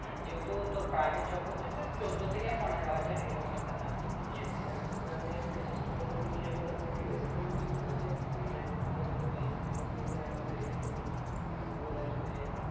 যেহেতু তোর private job করছিস তো চোদ্দ থেকে পনেরো হাজার এরকম একটা something কিছু দেখ তোকে আমি একটা চেষ্টা করবো তুই যেন তার থেকে বেশি থাকিস ঠিক আছে সেরকমই হিসেবে তোকে তুই যখন এইখানে আমাদের এখানে তখন উপর লার যদি